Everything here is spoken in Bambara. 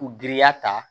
U girinya ta